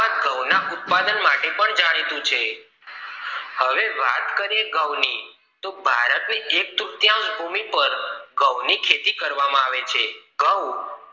ઘઉ ના ઉત્પાદન માટે પણ જાણીતું છે હવે વાત કરીએ ઘઉ ની તો ભારત ના એક તૃત્તાસ ભૂમિ પર ઘઉ ની ખેતી કરવામાં આવે છે ઘઉ